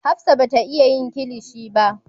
Hafsat bata Iya yin kilishi ba.